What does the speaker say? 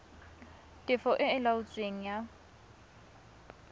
tefo e e laotsweng ya